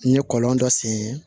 N ɲe kɔlɔn dɔ sen